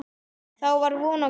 Þá var von á góðu.